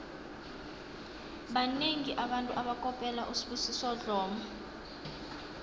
banengi abantu abakopela usibusiso dlomo